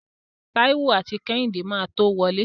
Táíwò àti Kẹ́hìndé máa tó wọlé.